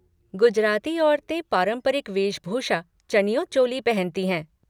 गुजराती औरतें पारंपरिक वेशभूषा चनियो चोली पहनती हैं।